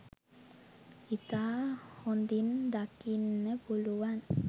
ඉතා හොඳින් දකින්න පුළුවන්